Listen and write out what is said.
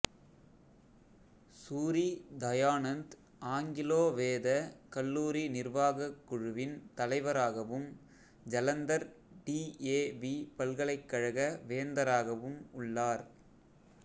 Suri Dayanand Anglo Vedic கல்லூரி நிர்வாகக் குழுவின் தலைவராகவும் ஜலந்தர் டிஏவி பல்கலைக்கழக வேந்தராகவும் உள்ளார்